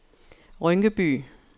Rynkeby